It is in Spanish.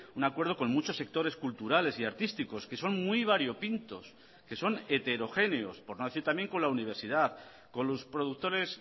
un acuerdo con muchos sectores culturales y artísticos que son muy variopintos que son heterogéneos por no decir también con la universidad con los productores